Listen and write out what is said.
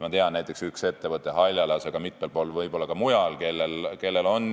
Ma tean näiteks ühte ettevõtet Haljalas, aga neid võib olla ka mitmel pool mujal.